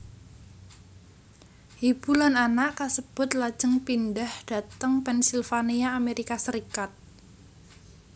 Ibu lan anak kasebut lajeng pindhah dhateng Pennsylvania Amerika Serikat